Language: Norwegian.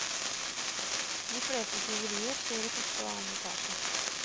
De fleste tyverier skjer i første og annen etasje.